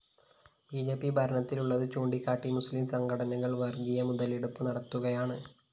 B J P ഭരണത്തിലുള്ളത് ചൂണ്ടിക്കാട്ടി മുസ്ലിം സംഘടനകള്‍ വര്‍ഗീയ മുതലെടുപ്പ് നടത്തുകയാണ്